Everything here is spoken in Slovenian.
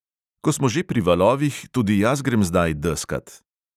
Ko smo že pri valovih, tudi jaz grem zdaj deskat.